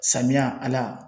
Samiya Ala